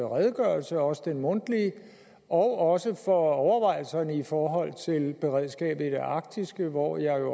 redegørelse også den mundtlige og for overvejelserne i forhold til beredskabet i det arktiske hvor jeg